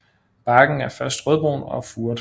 Barken er først rødbrun og furet